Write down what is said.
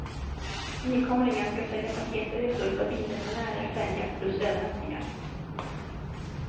Nykomlingen ska sälja paketresor för bilresenärer, färja plus övernattningar.